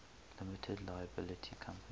limited liability company